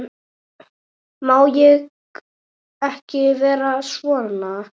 Má ég ekki vera svona?